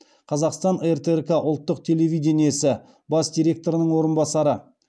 қазақстан ртрк ұлттық телевидениесі бас директорының орынбасары